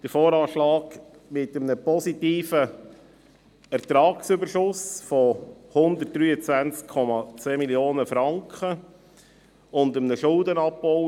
Der VA enthält einen Betragsüberschuss von 123,2 Mio. Franken, ist also positiv.